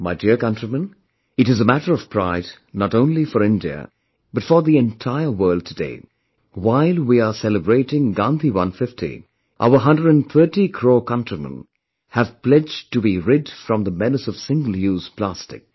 My dear countrymen, it is a matter of pride not only for India but for the entire world today, while we are celebrating 'Gandhi 150', our 130 crore countrymen have pledged to be rid from the menace of Single Use Plastic